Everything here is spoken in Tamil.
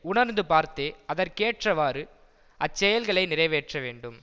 உணர்ந்து பார்த்தே அதற்கேற்றவாறு அச்செயல்களை நிறைவேற்ற வேண்டும்